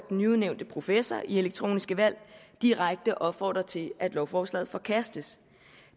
nyudnævnte professor i elektroniske valg direkte opfordrer til at lovforslaget forkastes